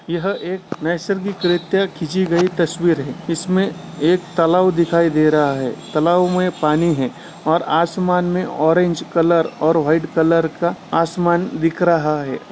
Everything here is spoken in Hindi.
यह एक खिची गई तस्वीर है इसमें एक तलाव दिखाई दे रहा है तलाव मे पानी है और आसमान मे ऑरेंज कलर और व्हाइट कलर का आसमान दिख रहा है।